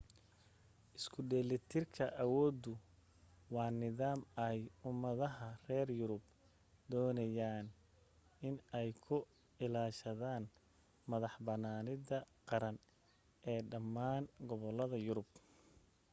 isku dheelitirka awooddu waa nidaam ay ummadaha reer yurub doonayeen in ay ku ilaashadaan madax-bannaanida qaran ee dhammaan gobollada yurub